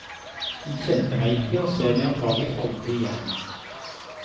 Hun kjente meg ikke, og ser meg antagelig aldri igjen.